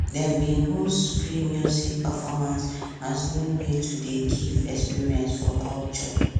dem bin host free music performance as new way to dey give experience for culture